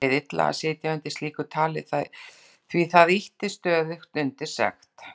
Mér leið illa að sitja undir slíku tali því það ýtti stöðugt undir sekt